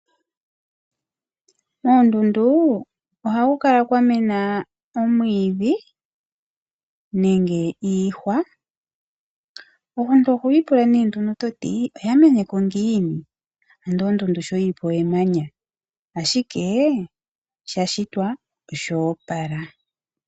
Koondundu ohaku kala kwa mena omwiidhi nenge iihwa. Omuntu oho ipula nee ngeno toti oya meneko ngiini? Yo ondundu sho yili po emanya, ashike sha shitwa oshoopala.